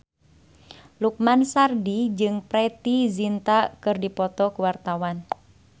Lukman Sardi jeung Preity Zinta keur dipoto ku wartawan